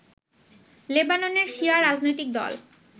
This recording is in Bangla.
লেবাননের শিয়া রাজনৈতিক দল